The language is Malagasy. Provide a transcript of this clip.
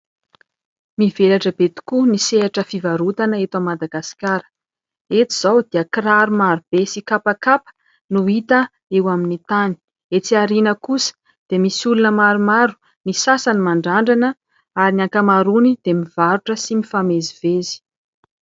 Mivelatra be tokoa ny sehatra fivarotana eto Madagascar. Eto izao dia kiraro maro be sy kapakapa no hita eo amin'ny tany. Etsy aoriana kosa dia misy olona maromaro, ny sasany mandrandrana ary ny ankamaroany dia mivarotra sy mivezivezy.